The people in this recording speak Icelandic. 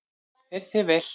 Fer þér vel!